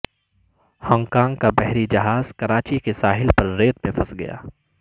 Hong Kong کا بحری جہاز کراچی کے ساحل پر ریت میں پھنس گیا